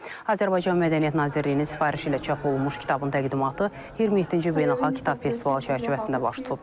Azərbaycan Mədəniyyət Nazirliyinin sifarişi ilə çap olunmuş kitabın təqdimatı 27-ci Beynəlxalq Kitab festivalı çərçivəsində baş tutub.